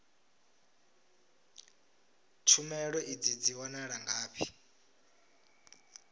tshumelo idzi dzi wanala ngafhi